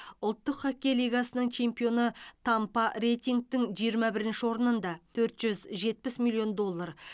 ұлттық хоккей лигасының чемпионы тампа рейтингтің жиырма бірінші орнында төрт жүз жетпіс миллион доллар